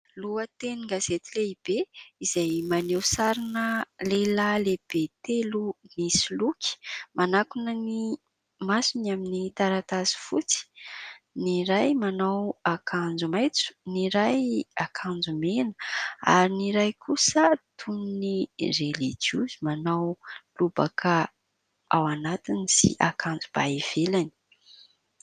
Lohatenin-gazety lehibe izay maneho sarina lehilahy lehibe telo misoloky manakona ny masony amin'ny taratasy fotsy. Ny iray manao akanjo maitso, ny iray akanjo mena ary ny iray kosa toy ny relijiozy manao lobaka ao anatiny sy akanjo ba ivelany.